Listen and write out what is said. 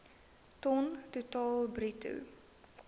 ton totaal bruto